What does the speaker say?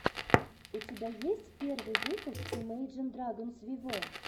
у тебя есть первый выпуск имейджин драгонс виво